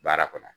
Baara kɔnɔ